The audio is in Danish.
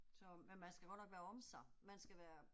Så, men man skal godt nok være om sig, man skal være